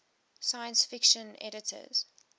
science fiction editors